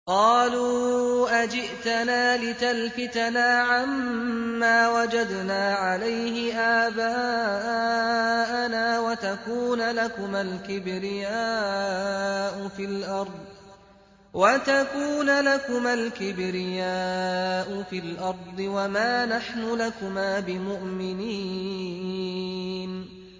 قَالُوا أَجِئْتَنَا لِتَلْفِتَنَا عَمَّا وَجَدْنَا عَلَيْهِ آبَاءَنَا وَتَكُونَ لَكُمَا الْكِبْرِيَاءُ فِي الْأَرْضِ وَمَا نَحْنُ لَكُمَا بِمُؤْمِنِينَ